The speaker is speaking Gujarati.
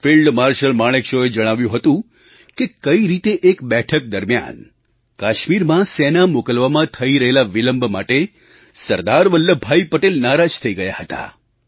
ફિલ્ડ માર્શલ માણેકશૉએ જણાવ્યું હતું કે કઈ રીતે એક બેઠક દરમિયાન કાશ્મીરમાં સેના મોકલવામાં થઈ રહેલા વિલંબ માટે સરદાર વલ્લભભાઈ પટેલ નારાજ થઈ ગયા હતા